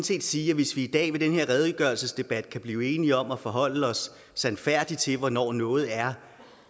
set sige at hvis vi i dag i den her redegørelsesdebat kan blive enige om at forholde os sandfærdigt til hvornår noget er